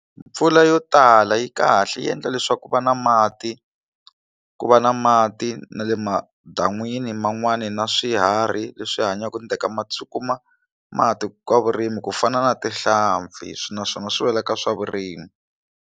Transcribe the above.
Mpfula yo tala yi kahle yi endla leswaku ku va na mati ku va na mati na le madan'wini man'wani na swiharhi leswi hanyaka ni teka mati swi kuma mati ka vurimi ku fana na tihlampfi swi naswona swi wela ka swa vurimi.